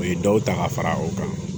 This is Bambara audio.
U ye dɔw ta ka fara o kan